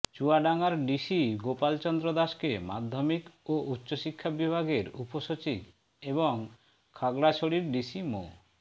চুয়াডাঙ্গার ডিসি গোপাল চন্দ্র দাসকে মাধ্যমিক ও উচ্চ শিক্ষা বিভাগের উপসচিব এবং খাগড়াছড়ির ডিসি মো